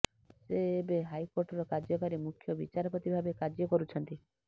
ସେ ଏବେ ହାଇକୋର୍ଟର କାର୍ଯ୍ୟକାରୀ ମୁଖ୍ୟ ବିଚାରପତି ଭାବେ କାର୍ଯ୍ୟ କରୁଛନ୍ତି